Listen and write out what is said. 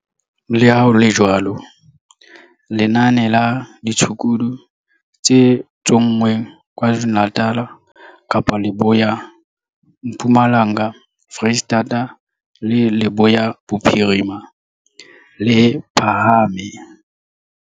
Le ha ho le jwalo, lenane la ditshukudu tse tsonngweng KwaZulu-Natal, Kapa Leboya, Mpumalanga, Freistata le Leboya Bophirima, le phahame.